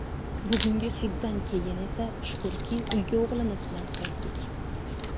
Bugungi suddan keyin esa shukrki, uyga o‘g‘limiz bilan qaytdik.